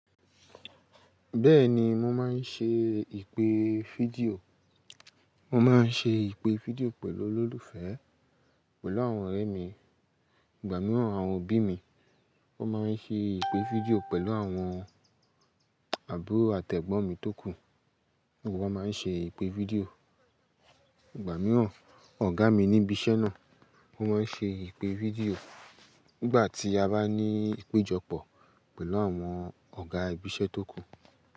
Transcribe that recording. Bẹ́ẹ̀ni, mo máa ń ṣe ìpè fídíò, mo máa ń ṣe ìpè fídíò pẹ̀lú olólùfẹ́, pẹ̀lú àwọn ọ̀rẹ́ mi, ìgbà mìíràn àwọn òbí mi. Wọ́n máa ń ṣe ìpè fídíò pẹ̀lú àwọn àbúrò àti ẹ́gbọ́n mi tókù, gbogbo wa máa ń ṣe ìpè fídíò. Ìgbà mìíràn ọ̀gá mi níbi iṣẹ́ náà, wọ́n máa ń ṣe ìpè fídíò nígbà tí a bá ní ìpéjọpọ̀ pẹ̀lú àwọn ọ̀gá ibi iṣẹ́ tó kù.